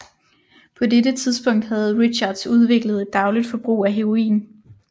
På dette tidspunkt havde Richards udviklet et dagligt forbrug af heroin